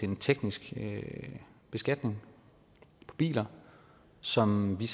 en teknisk beskatning af biler som vi